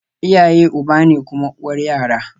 Iyaye uba ne kuma uwar yara